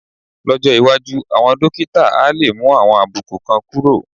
Lọ́jọ́ iwájú, àwọn dókítà á lè mú àwọn àbùkù kan kúrò